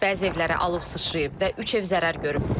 Bəzi evlərə alov sıçrayıb və üç ev zərər görüb.